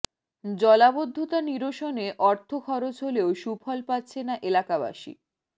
জলাবদ্ধতা নিরসনে অর্থ খরচ হলেও সুফল পাচ্ছে না এলাকাবাসী